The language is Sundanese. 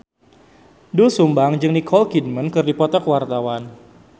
Doel Sumbang jeung Nicole Kidman keur dipoto ku wartawan